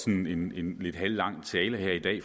en lidt halvlang tale her i dag